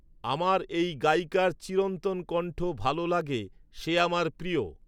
আমার এই গায়িকার চিরন্তন কণ্ঠ ভালো লাগে সে আমার প্রিয়